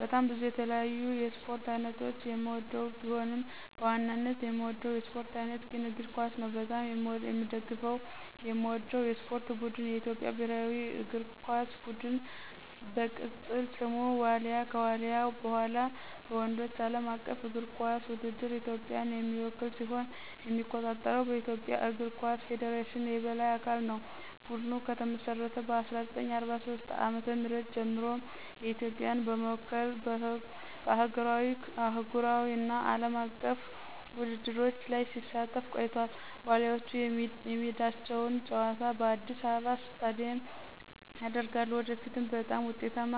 በጣም ብዙ የተለያዩ የስፖርት አይነቶችን የምወድቢሆንም፣ በዋናነት የምወደው የስፖርት አይነት ግን እግር ኳስ ነው። በጣም የምደግፈውና የምወደው የስፖርት ቡድን የኢትዮጵያ ብሔራዊ እግር ኳስ ቡድን፣ በቅፅል ስሙ ዋሊያ፣ ከዋልያ በኋላ፣ በወንዶች ዓለም አቀፍ እግር ኳስ ውድድር ኢትዮጵያን የሚወክል ሲሆን የሚቆጣጠረው በኢትዮጵያ እግር ኳስ ፌዴሬሽን የበላይ አካል ነው። ቡድኑ ከተመሰረተ ከ1943 ዓ.ም ጀምሮ ኢትዮጵያን በመወከል በአህጉራዊ፣ አህጉራዊ እና አለም አቀፍ ውድድሮች ላይ ሲሳተፍ ቆይቷል፤ ዋሊያዎቹ የሜዳቸውን ጨዋታ በአዲስ አበባ ስታዲየም ያደርጋሉ። ወደፊትም በጣም ውጤታማ